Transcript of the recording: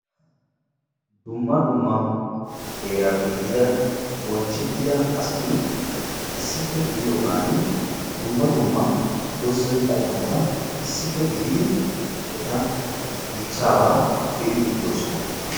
Dumma dumma heerappe yiida bonchchettidda asatti daro qommo doozza dichchabba be'idde de'ossonna.